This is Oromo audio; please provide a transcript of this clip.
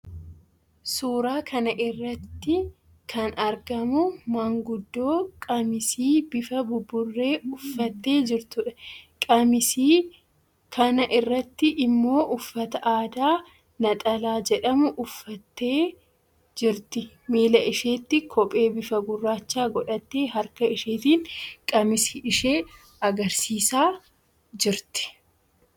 Suuraa kana irratti kan argamu maanguddoo qamisii bifa buburree uffattee jirtuudha. Qamisii kana irratti immoo uffata aadaa 'naxalaa' jedhamu uffattee jirti. Miila isheetti kophee bifa gurraachaa godhattee, harka isheetiin qamisii ishee agarsiisaa jirti.